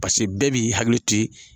Pase bɛɛ b'i hakiliti.